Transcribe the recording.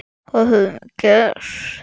Hvað höfum við gert?